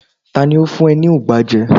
ta ni o fun e ni ugba je